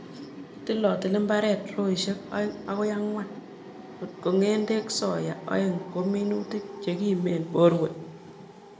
Kitilotili mbaret, roisiek oeng akoi ang'wan ko ng'endekab soya, oeng' ko minutik chekimen borwek.